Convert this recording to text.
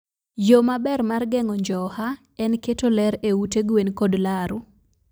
Yo maber mar geng'o njoha en keto ler e ute gwen kod laru.